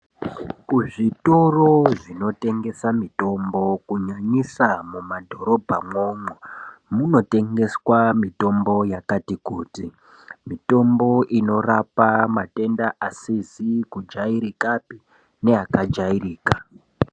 Ku zvitoro zvino tengesa mitombo ku nyanyisa mu madhorobha mwo mwo muno tengeswa mitombo yakati kuti mitombo inorapa matenda asizi ku jairikapi ne aka jairika.